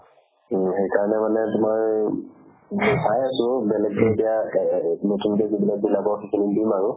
to সেইকাৰণে মানে তোমাৰ এতিয়া চাই আছো বেলেগতো এতিয়া এ ~ এ ~ এই নতুনকে যিবিলাক ওলাব সেইখিনিত দিম আৰু